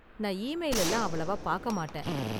நான் இமெயில் எல்லாம் அவ்வளவா பார்க்க மாட்டேன்.